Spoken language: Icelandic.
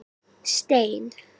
Stein